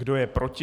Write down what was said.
Kdo je proti?